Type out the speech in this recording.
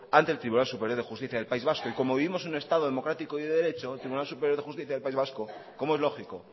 ante el tribunal superior de justicia del país vasco y como vivimos en un estado democrático y de derecho el tribunal superior de justicia del país vasco como es lógico